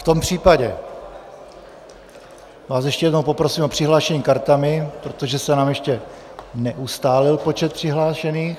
V tom případě vás ještě jednou poprosím o přihlášení kartami, protože se nám ještě neustálil počet přihlášených.